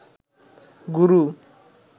গুরু